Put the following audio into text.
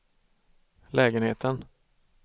lägenheten